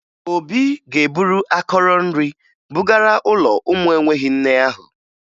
Obi ga-eburu akọrọ nri bugara ụlọ ụmụ enweghi nne ahụ